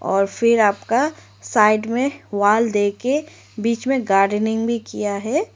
और फिर आपका साइड में वॉल देके बीच में गार्डनिंग भी किया है।